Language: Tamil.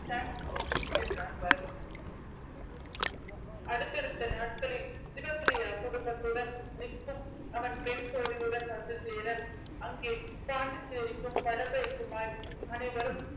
thanks bro என்றான் பரத் அடுத்தடுத்த நாட்களில் சிவப்பிரியா குடும்பத்துடன் நிற்கும் அவன் பெண் தோழியுடன் வந்து சேர அங்கே பாண்டிச்சேரிக்கும் படப்பைக்குமாய் அனைவரும்